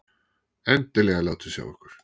Endilega látið sjá ykkur!